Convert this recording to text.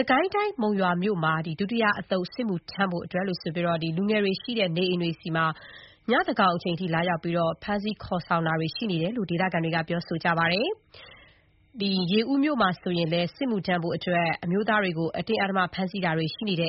ကိုင်းတိုင်း၊ မုံရွာမြို့မှာ ဒုတိယအသုတ် စစ်မှုထမ်းဖို့အတွက် လူငယ်တွေရှိတဲ့ နေအိမ်တွေဆီ ညသန်းခေါင်အချိန် ရောက်လာပြီး ဖမ်းဆီး ခေါ်ဆောင်တာတွေ ရှိနေတယ်လို့ ဒေသခံတွေက ပြောပါတယ်။ ရေဦးမြို့မှာလည်း စစ်မှုထမ်းဖို့အတွက် အမျိုးသားတွေကို အတင်းအဓမ္မ ဖမ်းဆီးတာတွေ ရှိနေတ